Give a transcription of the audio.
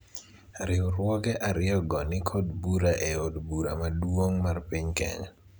riwruoge ariyo go nikod bura e od bura maduong' mar piny Kenya